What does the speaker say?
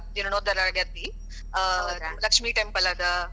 ಜೀರ್ಣೋದ್ಧಾರ ಆಗೇತಿ, ಲಕ್ಷ್ಮೀ temple ಅದ. ಭಾಳ ಬೇರೆ.